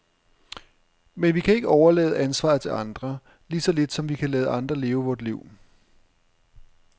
Men vi kan ikke overlade ansvaret til andre, lige så lidt som vi kan lade andre leve vort liv.